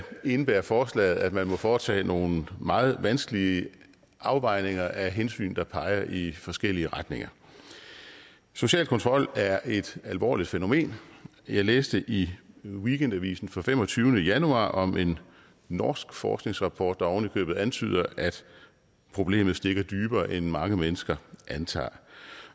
indebærer forslaget at man må foretage nogle meget vanskelige afvejninger af hensyn der peger i forskellige retninger social kontrol er et alvorligt fænomen jeg læste i weekendavisen fra den femogtyvende januar om en norsk forskningsrapport der ovenikøbet antyder at problemet stikker dybere end mange mennesker antager